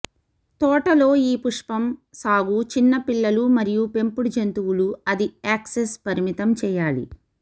తోట లో ఈ పుష్పం సాగు చిన్న పిల్లలు మరియు పెంపుడు జంతువులు అది యాక్సెస్ పరిమితం చేయాలి